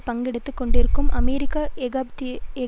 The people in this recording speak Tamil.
பங்கெடுத்து கொண்டிருக்கும் அமெரிக்க ஏகாதிபத்தியத்தை